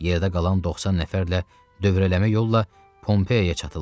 Yerdə qalan 90 nəfərlə dövrələmə yolla Pompeyaya çatırlar.